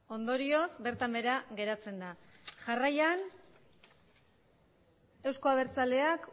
ondorioz bertan behera geratzen da jarraian eusko abertzaleak